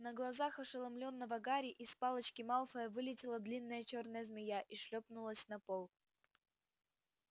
на глазах ошеломлённого гарри из палочки малфоя вылетела длинная чёрная змея и шлёпнулась на пол